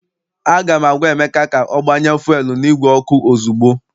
Aga m agwa Emeka ka o gbanye fuelu n' igwe ọkụ ozugbo!